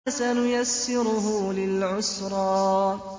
فَسَنُيَسِّرُهُ لِلْعُسْرَىٰ